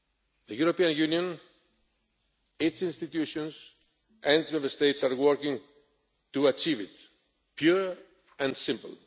The European Union, its institutions and the Member States are working to achieve it, pure and simple.